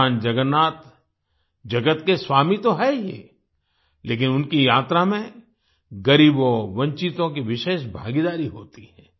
भगवान जगन्नाथ जगत के स्वामी तो हैं ही लेकिन उनकी यात्रा में गरीबों वंचितों की विशेष भागीदारी होती है